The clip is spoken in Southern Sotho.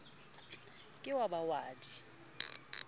ke wa ba wa di